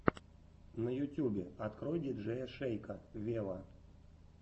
на ютюбе открой диджея шейка вево